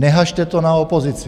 Neházejte to na opozici.